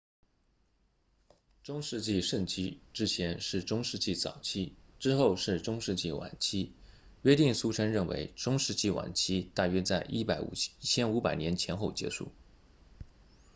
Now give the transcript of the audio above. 中世纪盛期之前是中世纪早期之后是中世纪晚期约定俗成认为中世纪晚期大约在1500年前后结束